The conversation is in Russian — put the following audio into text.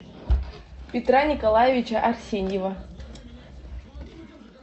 петра николаевича арсеньева